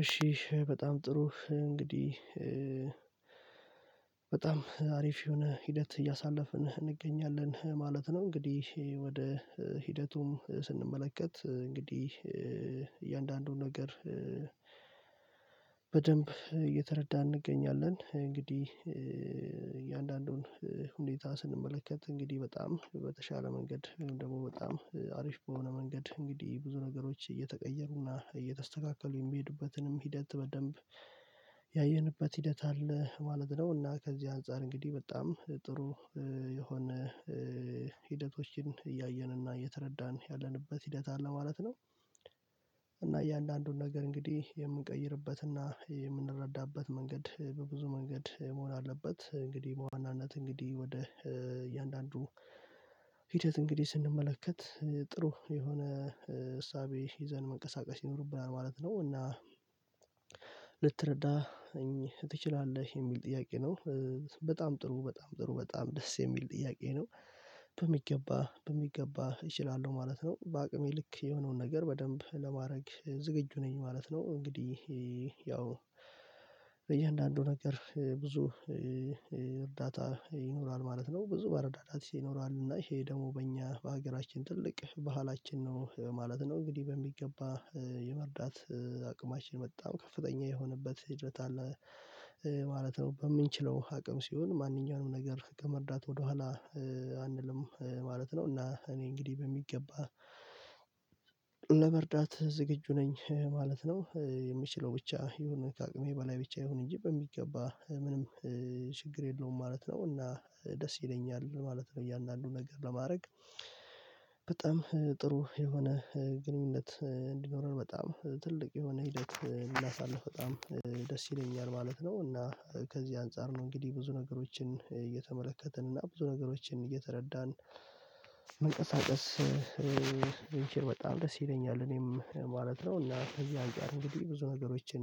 እሺ በጣም ጥሩ እንግዲህ በጣም አሪፍ የሆነ ሂደት እያሳለፍን እንገኛለን ማለት ነው። እንግዲህ ወደ ሂደቱም ስንመለከት እንግዲህ እያንዳንዱን ነገር በደንብ እየተረዳን እንገኛለን። እንግዲህ እያንዳንዱን ሁኔታ ስንመለከት እንግዲህ በጣም በተሻለ መንገድ ደግሞ በጣም አሪፍ በሆነ መንገድ እንግዲህ ብዙ ነገሮች እየተቀየሩና እየተስተካከሉ የሚሄዱበትንም ሂደት በደንብ ያየንበት ሂደት አለ ማለት ነው። እና ከዚህ አንፃር እንግዲህ በጣም ጥሩ የሆነ ሂደቶችን እያየንና እየተረዳን ያለንበት ሂደት አለ ማለት ነው። እና እያንዳንዱን ነገር እንግዲህ የምንቀይርበት እና የምንረዳበት መንገድ በብዙ መንገድ መሆን አለበት። እንግዲህ በዋናነት እንግዲህ ወደ እያንዳንዱ ሂደት እንግዲህ ስንመለከት ጥሩ የሆነ እሳቤ ይዘን መንቀሳቀስ ይኖርብናል ማለት ነው። እና ልትረዳ እኚህ ትችላለህ የሚል ጥያቄ ነው። በጣም ጥሩ በጣም ጥሩ በጣም ደስ የሚል ጥያቄ ነው። በሚገባ በሚገባ እችላለሁ ማለት ነው በአቅሜ ልክ የሆነውን ነገር በደንብ ለማድረግ ዝግጁ ነኝ ማለት ነው። እንግዲህ ያው በእያንዳንዱ ነገር ብዙ እርዳታ ይኖራል ማለት ነው። ብዙ መረዳዳት ይኖራል እና ይሄ ደግሞ በእኛ በሀገራችን ትልቅ ባህላችን ነው ማለት ነው። እንግዲህ በሚገባ የመርዳት አቅማችን በጣም ከፍተኛ የሆነበት ሂደት አለ ማለት ነው። በምንችለው አቅም ሲሆን ማንኛውንም ነገር ከመርዳት ወደኋላ አንልም ማለት ነው። እና እኔ እንግዲህ በሚገባ ለመርዳት ዝግጁ ነኝ ማለት ነው። የምችለው ብቻ ይሁን ከአቅሜ በላይ ብቻ አይሁን እንጂ በሚገባ ምንም ችግር የለውም ማለት ነው። እና ደስ ይለኛል ማለት ነው። እያንዳንዱን ነገር ለማድረግ በጣም ጥሩ የሆነ ግንኙነት እንዲኖረር በጣም ትልቅ የሆነ ሂደት ሊያሳልፍ በጣም ደስ ይለኛል ማለት ነው። እና ከዚህ አንፃር ነው እንግዲህ ብዙ ነገሮችን እየተመለከትን እና ብዙ ነገሮችን እየተረዳን መንቀሳቀስ ብንችል በጣም ደስ ይለኛል እኔም ማለት ነው። እና ከዚህ አንፃር እንግዲህ ብዙ ነገሮችን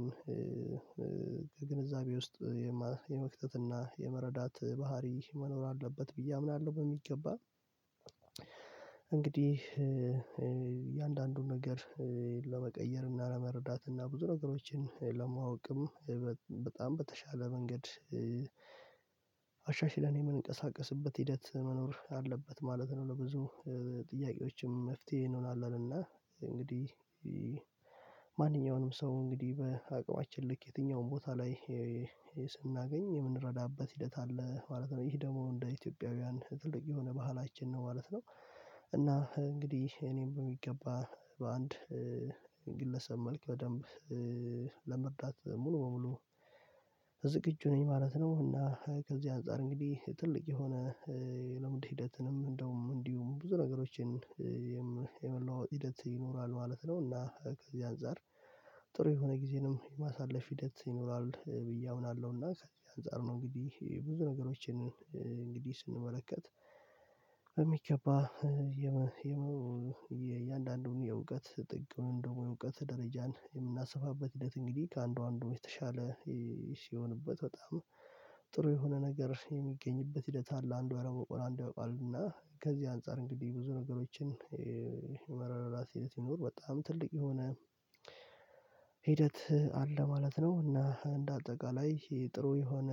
ከግንዛቤ ውስጥ የመክተትና የመረዳት ባህሪ መኖር አለበት ብዬ አምናለሁ። በሚገባ እንግዲህ እያንዳንዱን ነገር ለመቀየር እና ለመረዳት እና ብዙ ነገሮችን ለማወቅም በጣም በተሻለ መንገድ አሻሽለን የምንቀሳቀስበት ሂደት መኖር አለበት ማለት ነው። ለብዙ ጥያቄዎችም መፍትሄ እንሆናለን እና እንግዲህ ማንኛውንም ሰው እንግዲህ በአቅማችን ልክ የትኛውም ቦታ ላይ ስናገኝ የምንረዳበት ሂደት አለ ማለት ነው። ይሄ ደግሞ እንደ ኢትዮጵያውያን ጥልቅ የሆነ ባህላችን ነው ማለት ነው። እና እንግዲህ እኔም በሚገባ በአንድ ግለሰብ መልክ በደንብ ሙሉ በሙሉ ዝግጁ ነኝ ማለት ነው። እና ከዚህ አንፃር እንግዲህ ትልቅ የሆነ የልምድ ሂደትንም እንደውም እንዲሁም ብዙ ነገሮችን የመለዋወጥ ሂደት ይኖራል ማለት ነው። እና ከዚህ አንፃር ጥሩ የሆነ ጊዜንም የማሳለፍ ሂደት ይኖራል ብዬ አምናለሁ። እና ከዚህ አንፃር ነው እንግዲህ ብዙ ነገሮችን እንግዲህ ስንመለከት በሚገባ የእያንዳንዱን የእውቀት ጥቅም ደግሞ የእውቀት ደረጃን የምናሰፋበት ሂደት እንግዲህ ከአንዱ አንዱ የተሻለ የሆነበት በጣም ጥሩ የሆነ ነገር የሚገኝበት ሂደት አለ። አንዱ ያላወቀውን አንዱ ያውቃልና ከዚህ አንፃር እንግዲህ ብዙ ነገሮችን ወረራ ሲሄድ ይኑር በጣም ትልቅ የሆነ ሂደት አለ ማለት ነው። እና እንደ አጠቃላይ ይሄ ጥሩ የሆነ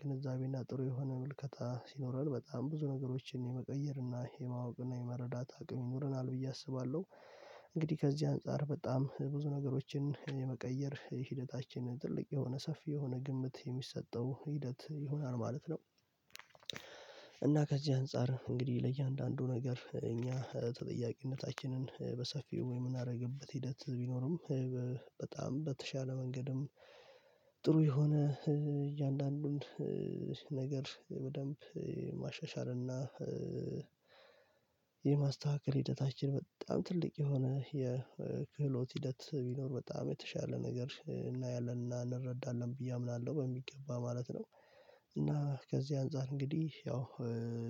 ግንዛቤና ጥሩ የሆነ ምልከታ ሲኖረን በጣም ብዙ ነገሮችን የመቀየርና የማወቅ እና የመረዳት አቅም ይኖረናል ብዬ አስባለሁ። እንግዲህ ከዚህ አንፃር በጣም ብዙ ነገሮችን የመቀየር ሂደታችን ትልቅ የሆነ ሰፊ የሆነ ግምት የሚሰጠው ሂደት ይሆናል ማለት ነው። እና ከዚህ አንፃር እንግዲህ ለእያንዳንዱ ነገር እኛ ተጠያቂነታችንን በሰፊው ወይ የምናደርግበት ሂደት ቢኖርም በጣም በተሻለ መንገድም ጥሩ የሆነ እያንዳንዱን ነገር በደንብ ማሻሻልና የማስተካከል ሂደታችን በጣም ትልቅ የሆነ የክህሎት ሂደት ቢኖር በጣም የተሻለ ነገር እናያለን እና እንረዳለን ብዬ አምናለሁ። በሚገባ ማለት ነው። እና ከዚህ አንፃር እንግዲህ ያው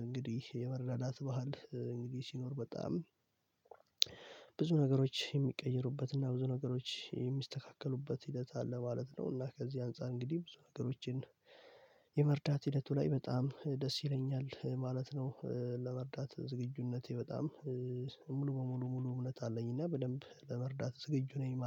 እንግዲህ የመረዳዳት ባህል እንግዲህ ሲኖር በጣም ብዙ ነገሮች የሚቀይሩበትና ብዙ ነገሮች የሚስተካከሉበት ሂደት አለ ማለት ነውና ከዚህ አንፃር እንግዲህ ብዙ ነገሮችን የመርዳት ሂደቱ ላይ በጣም ደስ ይለኛል ማለት ነው። ለመርዳት ዝግጁነቴ በጣም ሙሉ በሙሉ ሙሉ እምነት አለኝ እና በደንብ ለመርዳት ዝግጁ ነኝ ማለት